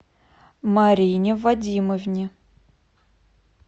марине вадимовне